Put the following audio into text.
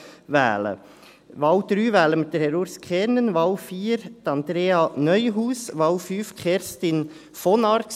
Bei der Wahl 3 wählen wir Herr Urs Kernen, bei der Wahl 4 Andrea Neuhaus, bei der Wahl 5 Kerstin von Arx.